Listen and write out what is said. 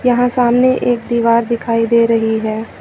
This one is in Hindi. यहां सामने एक दीवार दिखाई दे रही है।